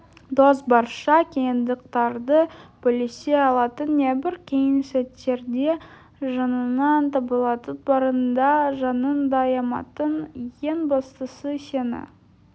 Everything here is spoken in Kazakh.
дос барша қиындықтарды бөлісе алатын небір қиын сәттерде жаныңнан табылатын барын да жанын да аямайтын ең бастысы сені